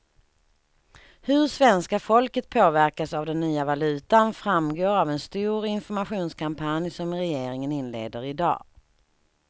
Hur svenska folket påverkas av den nya valutan framgår av en stor informationskampanj som regeringen inleder i dag.